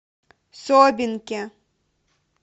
собинке